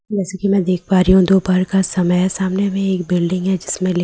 जैसे की मैं देख पा रहीं हूँ दोपहर का समय है सामने में एक बिल्डिंग है जिसमें लि--